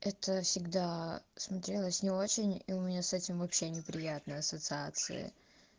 это всегдаа смотрелось не очень и у меня с этим вообще неприятные ассоциации